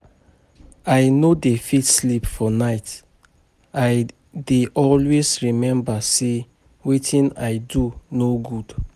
I no dey fit sleep for night I dey always remember say wetin I do no good